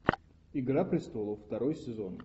игра престолов второй сезон